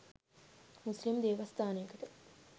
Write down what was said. මුස්ලිම් දේවස්ථානයකට